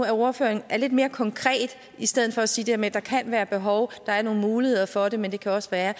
at ordføreren er lidt mere konkret i stedet for at sige det her med at der kan være behov at der er nogle muligheder for det men det kan også være